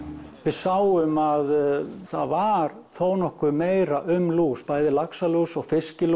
við sáum að það var nokkuð meira um lús bæði laxalús og